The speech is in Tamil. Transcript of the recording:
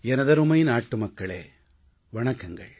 எனதருமை நாட்டுமக்களே வணக்கங்கள்